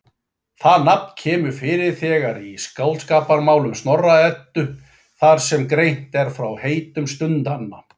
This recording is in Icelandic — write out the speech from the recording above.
Það nafn kemur fyrir þegar í Skáldskaparmálum Snorra-Eddu þar sem greint er frá heitum stundanna.